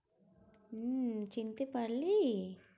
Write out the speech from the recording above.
হম চিনতে পারলি।